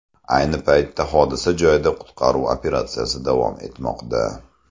Ayni paytda hodisa joyida qutqaruv operatsiyasi davom etmoqda.